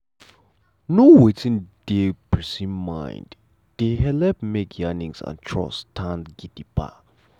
to know wetin dey the person mind dey helep make yarnings and trust stand gidigba.